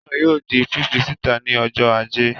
Eré náà yóò di fífí síta ní ọjọ́ Ajé